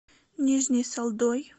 нижней салдой